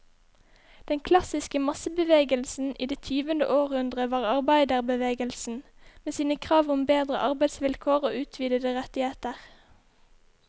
Den klassiske massebevegelsen i det tyvende århundre var arbeiderbevegelsen, med sine krav om bedre arbeidsvilkår og utvidede rettigheter.